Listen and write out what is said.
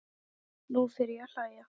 Nú fer ég að hlæja.